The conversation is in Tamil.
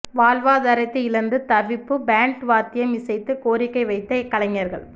வாழ்வாதாரத்தை இழந்து தவிப்பு பேண்ட் வாத்தியம் இசைத்து கோரிக்கை வைத்த கலைஞர்கள்